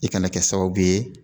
I kana kɛ sababu ye